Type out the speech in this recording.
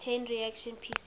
chain reaction pcr